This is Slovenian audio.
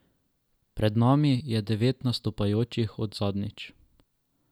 Pred nami je devet nastopajočih od zadnjič.